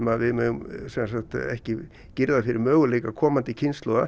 að við megum ekki girða fyrir möguleika komandi kynslóða